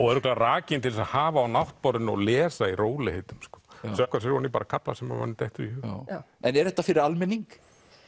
og rakin til að hafa á náttborðinu og lesa í rólegheitum sökkva sér ofan í kafla sem manni dettur í hug en er þetta fyrir almenning